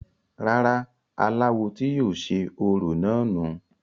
rárá, aláwo tí yóò ṣe orò náà nù u